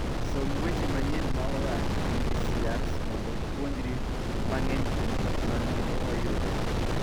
Som weche manyien moa NIDCRs mondo ipuonjri mang'eny kuom gik ma nonro oyudo.